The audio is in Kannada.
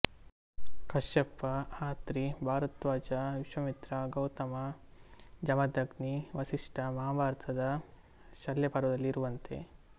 ಕಶ್ಯಪ ಅತ್ರಿ ಭರದ್ವಾಜ ವಿಶ್ವಾಮಿತ್ರ ಗೌತಮ ಜಮದಗ್ನಿ ವಸಿಷ್ಠ ಮಹಾಭಾರತದ ಶಲ್ಯಪರ್ವದಲ್ಲಿ ಇರುವಂತೆ